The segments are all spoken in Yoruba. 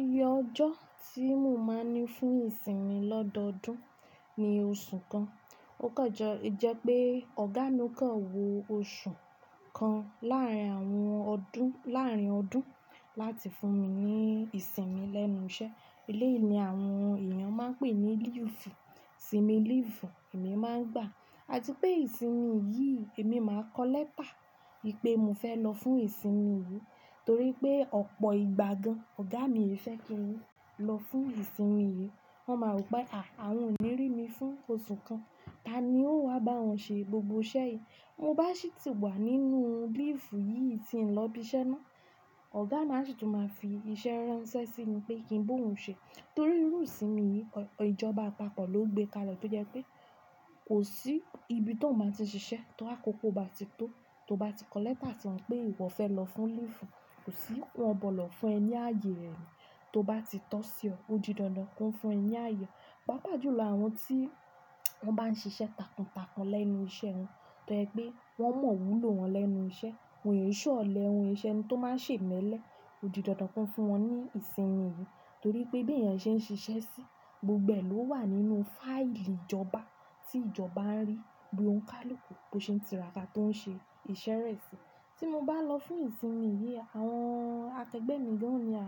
Iye ọjọ́ tí mo máa ń ní fún ìsinmi lọ́dọọdún ni oṣù kan. Ó kanje jẹ́ pé Ọ̀gá mi kàn wọ oṣù kan láàrín àwọn ọdún, láàrín ọdún láti fún mi ní ìsinmi lẹ́nu iṣẹ́. Elé yìí ni àwọn èèyàn máa ń pè ní leave, ìsinmi leave èmi máa ń gbà. Àtipé ìsinmi yìí, èmi n máa kọ lẹ́tà wípé mo fẹ́ lọ fún ìsinmi yìí, torí pé ọ̀pọ̀ ìgbà gan, ọ̀gá mi ẹ fẹ́ kí n lọ fún ìsinmi yìí. Wọn máa rò pé à, àwọn ò ní rí mi fún oṣù kan, ta ni yoó wa bá awọn ṣe gbogbo iṣẹ́ yìí? Ti mo bá sì tì wà nínú leave yìí tí ń lọ ibí iṣẹ́ mo, ọ̀gami a sì tún máa fi iṣẹ́ ránṣẹ́ sí mi pé kí n ba ohun ṣe. Torí irú ìsinmi yìí, ìjọba apapọ̀ ló gbé kalẹ̀ tó jẹ́ pé kò sí ibi to bati n ṣiṣẹ́ ti àkókò bá ti tó, tó bá ti kọ lẹ́tà sí wọn pé ìwọ fẹ́ lọ fún leave, kò sí wọn gbodo fún ẹ ní ààyè rẹ ni. Tó bá ti tọ́ sí ọ, ó di dandan ki won fún ẹ ní ààyè. Páapá jù lọ àwọn tí wọ́n bá ń ṣiṣẹ́ takun takun lẹ́nu iṣẹ́ wọn, tó jẹ́ pé wọ́n mọn iwúlò wọn lẹ́nu iṣẹ́, won ṣe ọlẹ won se eni tó máa sè iméle, ó di dandan ki won fún wọn ní ìsinmi yìí. Torí pé bí èèyàn ṣe ń ṣiṣẹ́ sí, gbogbo ẹ̀ ló wà nínú fáìlì ìjọba tí ìjọba ń rí bí ó ńi kálù ku, bó ṣe ń tira ká tó ń ṣe iṣẹ́ rẹ̀ sí. Tí mo bá n wo fimu tì mín, àwọn akẹgbẹ́ mi gan yóò ní à,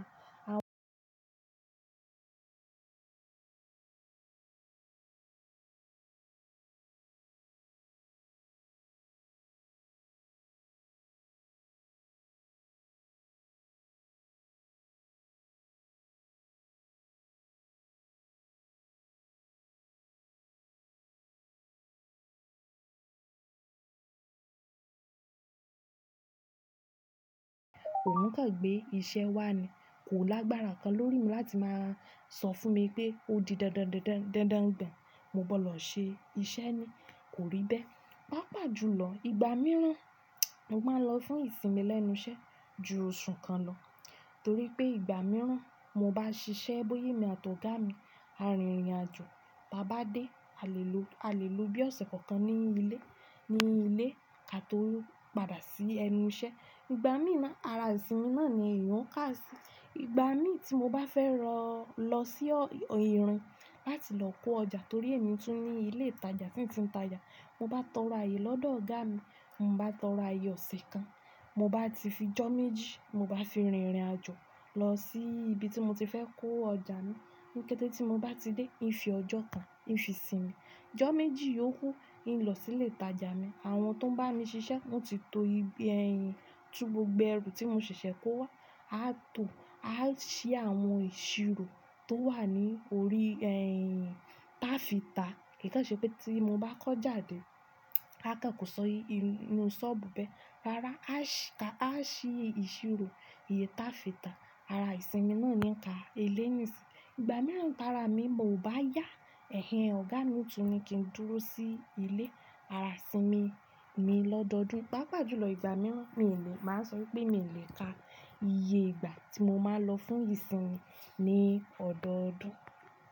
ohún kàn gbé iṣẹ́ wá ni, kò lágbára kan lórí mi láti máa sọ fún mi pé ó di dandan, dandan dan mo gbọ́ dọ ṣe iṣẹ́ naa, kò rí bẹ́ẹ̀. Paá pá jù lọ, ìgbà mìíràn mo máa ń lọ fún ìsinmi lẹ́nu iṣẹ́ ju oṣù kan lọ, torí pé ìgbà mìíràn ti mo bá n ṣiṣẹ́ bóya émi àti ọ̀gá mi, a rìn ìrìn àjò, tí a bá dé a lè lo, a lè lo bí ọ̀sẹ̀ kan kan nínú ilé, nínú ilé ki ató padà sí ẹnu iṣẹ́. Ìgbà mí ná, ara ìsinmi náà ni èèyàn ká sì. Ìgbà mí tí mo bá fẹ́ lọ, lọ sí, ohun láti lọ kó ọjà torí mo tún ní ilé ìtajà tí n ti ń tàjà, mo bá tọrọ ààyè lọ́dọ̀ ọ̀gá mi, mo bá tọrọ ààyè ọ̀sẹ̀ kan, mo bá ti fi ọjọ́ méjì, mo bá fi rìn irìn àjò lọ sí ibi tí mo ti fẹ́ kó ọjà mi. Ní kété tí mo bá ti dé, n fi ọjọ́ kan, n fi sinmi. Ọjọ́ méjì yókú, n lọ sí ilé ìtajà mi, àwọn tó ń bá mi ṣiṣẹ́ wọ́n ti to, tú gbogbo ẹrù tí mo ṣẹ̀ṣẹ̀ kó wá. A tò, a ṣí àwọn ìṣirò tó wà ní orí re ti a fi ta. Kí kan ṣe pé tí mo bá kọ́ ojá de, aakan kọ̀ si inú sọ́ọ̀bù bẹ́ẹ̀. Rárá, a si, a ṣí ìṣirò ìyẹ́ tá fi ta. Ara ìsinmi náà ni n ka eIéyi sì. Ìgbà mìíràn, ti ara mi ọ bá yá ẹ̀hẹ̀n ọ̀gá mi o tun ni kí n dúró sí ilé ara ìsinmi mi lọ́dọọdún. Páapá jù lọ ìgbà mìíràn mi o lè, máa ń sọ pé mi o lè ka iye ìgbà tí mo máa lọ fún ìsinmi ní ọ̀dọ̀ọdún.